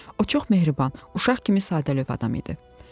O çox mehriban, uşaq kimi sadəlövh adam idi.